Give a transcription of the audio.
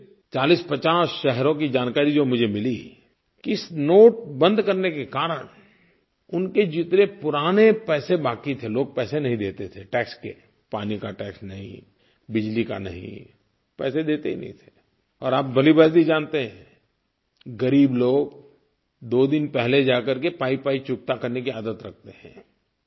क़रीब 4050 शहरों की जानकारी जो मुझे मिली कि इस नोट बंद करने के कारण उनके जितने पुराने पैसे बाक़ी थे लोग पैसे नहीं देते थे टैक्स के पानी का टैक्स नहीं बिजली का नहीं पैसे देते ही नहीं थे और आप भलीभाँति जानते हैं ग़रीब लोग 2 दिन पहले जा कर के पाईपाई चुकता करने की आदत रखते हैं